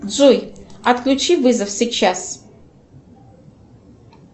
джой отключи вызов сейчас